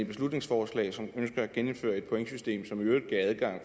beslutningsforslag som ønsker at genindføre et pointsystem som i øvrigt gav adgang